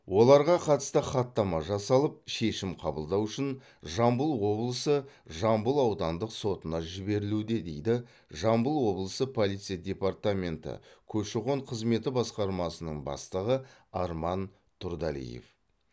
оларға қатысты хаттама жасалып шешім қабылдау үшін жамбыл облысы жамбыл аудандық сотына жіберілуде дейді жамбыл облысы полиция департаменті көші қон қызметі басқармасының бастығы арман тұрдалиев